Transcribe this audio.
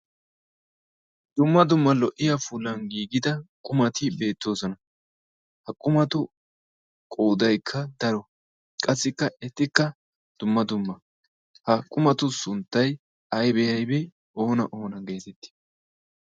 Dumma dumma lo"iyaa puulan giigida qumati beettoosona. ha qummatu qoodaykk daro qassikka ettikka dumma dumma. ha qummatu sunttay aybee aybee oona oona getetti?